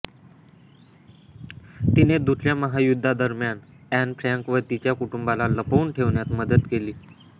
तिने दुसऱ्या महायुद्धादरम्यान एन फ्रँक व तिच्या कुटुंबाला लपवून ठेवण्यात मदत केली होती